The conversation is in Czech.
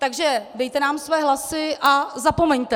- takže dejte nám své hlasy a zapomeňte.